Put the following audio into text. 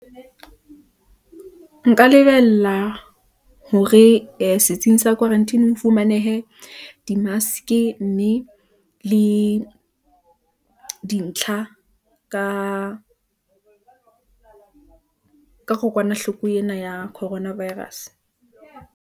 O ka lebella eng ho tswa setsing sa khwaranteni?